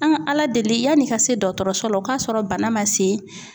An ga Ala deli yan'i k4I se dɔKɔtɔrɔso la, o k'a sɔrɔ bana ma se